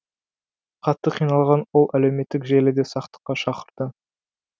қатты қиналған ол әлеуметтік желіде сақтыққа шақырды